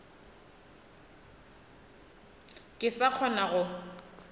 ka se sa kgona go